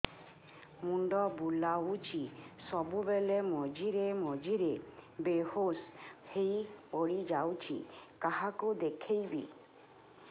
ମୁଣ୍ଡ ବୁଲାଉଛି ସବୁବେଳେ ମଝିରେ ମଝିରେ ବେହୋସ ହେଇ ପଡିଯାଉଛି କାହାକୁ ଦେଖେଇବି